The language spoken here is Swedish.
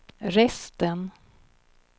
resten